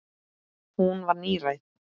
Hún var níræð.